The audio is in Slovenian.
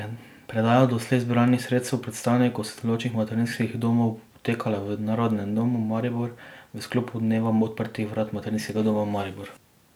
Predaja doslej zbranih sredstev predstavnikom sodelujočih materinskih domov bo potekala v Narodnem domu Maribor v sklopu dneva odprtih vrat Materinskega doma Maribor.